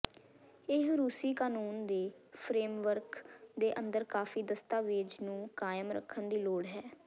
ਇਹ ਰੂਸੀ ਕਾਨੂੰਨ ਦੇ ਫਰੇਮਵਰਕ ਦੇ ਅੰਦਰ ਕਾਫੀ ਦਸਤਾਵੇਜ਼ ਨੂੰ ਕਾਇਮ ਰੱਖਣ ਦੀ ਲੋੜ ਹੈ